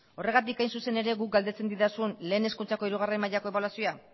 horregatik hain zuzen ere guk galdetzen didazun lehen hezkuntzako hirugarrena mailako ebaluazioa